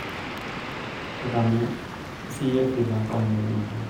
tadamu siiyie vile apa nekinyorra